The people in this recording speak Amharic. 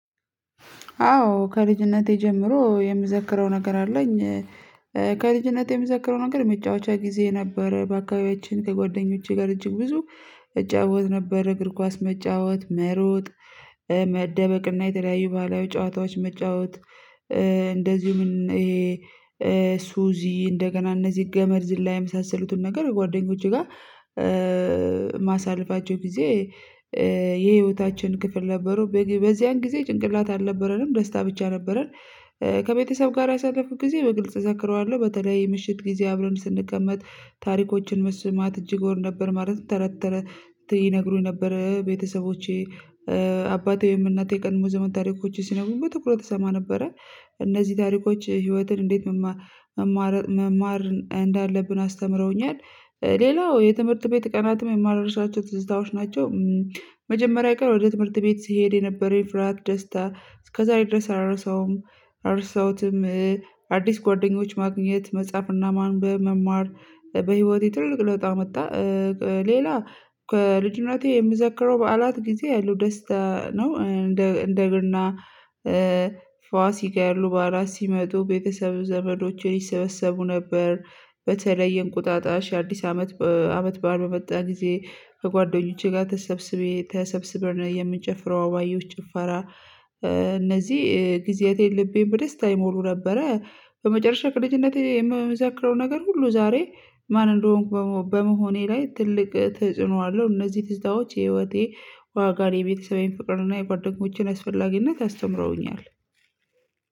አዎ ከልጅነቴ ጀምሮ የምዘክረው ነገር አለኝ። ከልጅነቴ የምዘክረው ነገር የሚጫወቸው ጊዜ ነበረ በአካባቢያችን ከጓደኞቼ ጋር እጅግ ብዙ እጫወት ነበር እግር ኳስ መጫወት መሮጥ መደበቅና የተለያዩ ባለቤቶች ጨዋታዎች መጫወት። እንደዚሁም ይሄ ሱዚ እንደገና እነዚህ ገመድ ዝላ የመሳሰሉትን ነገር ጓደኞቼ ጋር ማሳለፋቸው ጊዜ የህይወታችን ክፍል ነበሩ በዚያን ጊዜ ጭንቅላት አልነበረንም ደስታ ብቻ ነበረን። ከቤተሰብ ጋር ያሳለፍኩት ጊዜ በግልጽ እዘክረዋለሁ በተለይ ምሽት ጊዜ አብረን ስንቀመጥ ታሪኮችን መስማት እጅግ እንደሆነ ማለት ነው። ተረተረ ይነግሩኝ ነበረ ቤተሰቦቼ አባቴ ወይም እናቴ የቀድሞ ዘመን ታሪኮች ሲነጉብ በትኩረት ተሰማ ነበረ። እነዚህ ታሪኮች ህይወትን እንዴት መማር መማር እንዳለብን አስተምረውኛል። ሌላው የትምህርት ቤት ቀናትም የማረጋገጥላቸው ትዝታዎች ናቸው። መጀመሪያ ቀን ወደ ትምህርት ቤት ስሄድ የነበረኝ ፍርሃት ደስታ እስከዛሬ ድረስ አረሳውም። አረሳውትም አዲስ ጓደኞች ማግኘት መጻፍና ማንበብ መማር በህይወቴ ትልቅ ለውጥ መጣ። ሌላ ከልጅነቴ የምዘክረው በዓላት ጊዜ ያለው ደስታ ነው። እንደ እንደ እግርና ፋሲ ጋይ ያሉ በአራት ሲመጡ ቤተሰብ ዘመዶችን ይሰበሰቡ ነበር። በተለይ የእንቁጣጣሽ አዲስ አመት አመት ባዓል በመጣ ጊዜ ከጓደኞቼ ጋር ተሰብስቤ ተሰብስበርና የምንጨፍረው ባየሁት ጭፈራ እነዚህ ጊዜያቴን ልቤን በደስታ አይሞሉ ነበረ። በመጨረሻ ቅድምነቴ የምዘክረው ነገር ሁሉ ዛሬ ማን እንደሆንኩ በመሆኔ ላይ ትልቅ ተጽዕኖ አለው። እነዚህ ትዝታዎች የህይወቴ ዋጋ የቤተሰቤን ፍቅርና የጓደኞችን አስፈላጊነት አስተምረውኛል።